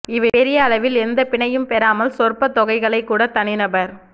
இவை பெரிய அளவில் எந்த பிணையும் பெறாமல் சொற்ப தொகைகளைக்கூட தனிநபர்